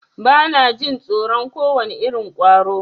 Bana jin tsoron kowane irin ƙwaro.